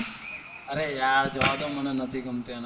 અરે યાર જવા દો મને નથી ગમતું એના સોંગ તો